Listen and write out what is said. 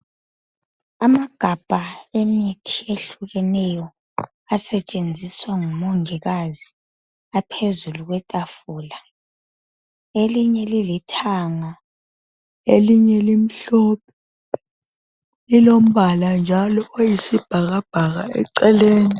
Amagabha emithi ehlukeneyo asetshenziswa ngumongikazi aphezulu kwetafula. Elinye lilithanga, elinye limhlophe lilombala njalo oyisibhakabhaka eceleni.